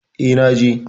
E, na je.